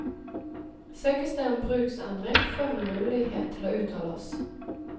Søkes det om bruksendring, får vi mulighet til å uttale oss.